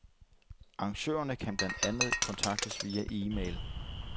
Arrangørerne kan blandt andet kontaktes via email.